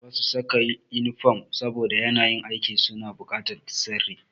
Ba su saka inifom saboda yanayin aikin su na bukatar sirri.